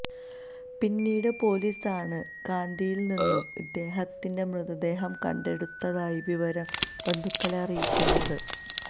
പിന്നീട് പൊലീസാണ് കാന്തിയില്നിന്നും ഇദ്ദേഹത്തിന്റെ മൃതദേഹം കണ്ടെടുത്തതായി വിവരം ബന്ധുക്കളെ അറിയിക്കുന്നത്